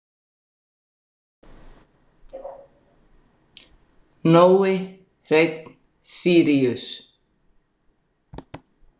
Nói Hreinn Síríus.